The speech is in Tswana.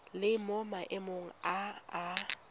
le mo maemong a a